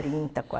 Trinta